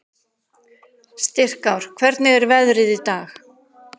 Styrkár, hvernig er veðrið í dag?